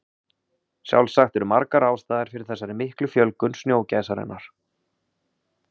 sjálfsagt eru margar ástæður fyrir þessari miklu fjölgun snjógæsarinnar